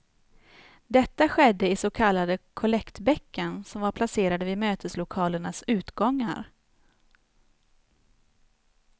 Detta skedde i så kallade kollektbäcken som var placerade vid möteslokalernas utgångar.